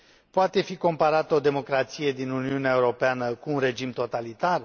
Poate fi comparată o democrație din Uniunea Europeană cu un regim totalitar?